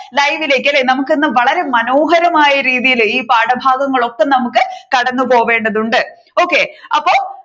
live ലേക്ക് അല്ലെ നമ്മുക്ക് ഇന്ന് വളരെ മനോഹരമായ രീതിയിൽ ഈ പാഠഭാഗങ്ങൾ ഒക്കെ നമുക്ക് കടന്നു പോവേണ്ടതുണ്ട് okay അപ്പോ